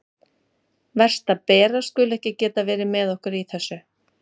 Verst að Bera skuli ekki geta verið með okkur í þessu.